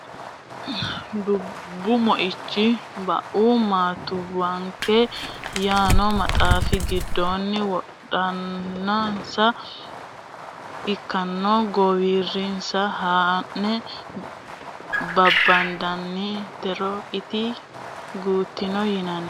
Doobbiichu wonanni Bue Maattuwanke yaano maxaafi giddonni wodanansa afino daafira gattino lameno rosoho ikkanno guwuursine haa ne babbadantinore ite gudino yinanni.